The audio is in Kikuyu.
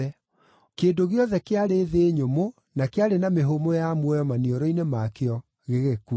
Kĩndũ gĩothe kĩarĩ thĩ nyũmũ na kĩarĩ na mĩhũmũ ya muoyo maniũrũ-inĩ makĩo gĩgĩkua.